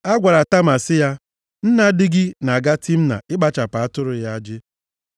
A gwara Tama sị ya, “Nna di gị na-aga Timna ịkpacha atụrụ ya ajị.”